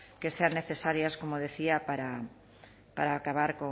que sean necesarias como decía para acabar